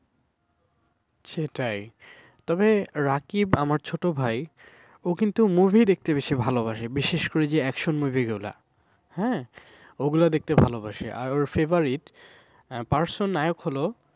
সেটাই তবে রাকিব আমার ছোট ভাই ও কিন্তু movie দেখতে বেশি ভালোবাসে বিশেষ করে যে auction movie গুলা হ্যাঁ ওগুলো দেখতে ভালোবাসে আর ওর favourite person নায়ক হল